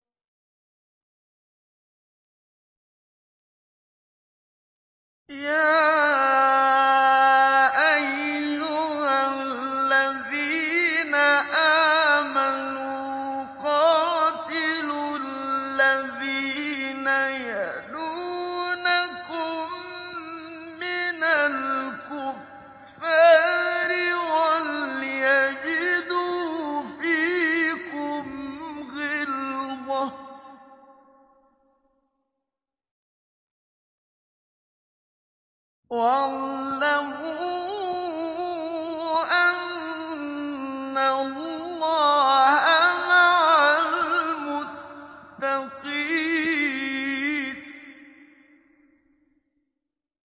يَا أَيُّهَا الَّذِينَ آمَنُوا قَاتِلُوا الَّذِينَ يَلُونَكُم مِّنَ الْكُفَّارِ وَلْيَجِدُوا فِيكُمْ غِلْظَةً ۚ وَاعْلَمُوا أَنَّ اللَّهَ مَعَ الْمُتَّقِينَ